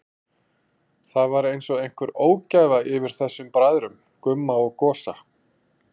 Það var einsog einhver ógæfa yfir þessum bræðrum, Gumma og Gosa.